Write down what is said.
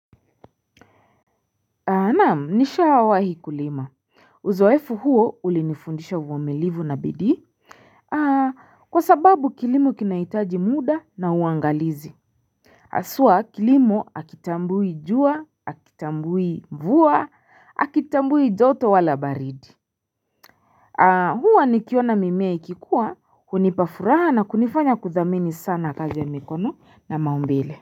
Naam, nishawahi kulima. Uzoefu huo ulinifundisha uvumilivu na bidii. Kwa sababu kilimo kinahitaji mda na uangalizi. Haswa kilimo hakitambui jua, hakitambui mvua, hakitambui joto wala baridi. Huwa nikiona mimea ikikua, hunipa furaha na kunifanya kuthamani sana kazi ya mikono na maumbile.